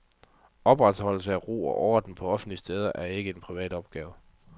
Opretholdelse af ro og orden på offentlige steder er ikke en privat opgave.